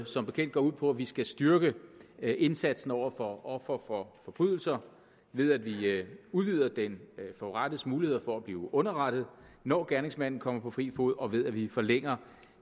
som bekendt går ud på at vi skal styrke indsatsen over for ofre for forbrydelser ved at vi udvider den forurettedes muligheder for at blive underrettet når gerningsmanden kommer på fri fod og ved at vi forlænger